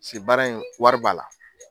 Paseke baara in, wari b' a la.